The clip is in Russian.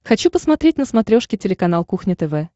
хочу посмотреть на смотрешке телеканал кухня тв